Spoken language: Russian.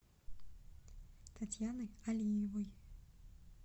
татьяны алиевой